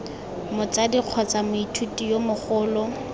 motsadi kgotsa moithuti yo mogolo